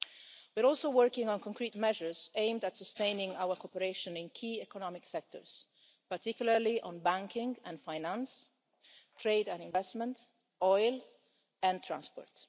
We are also working on concrete measures aimed at sustaining our cooperation in key economic sectors, particularly on banking and finance, trade and investment, oil and transport.